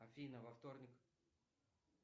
афина во вторник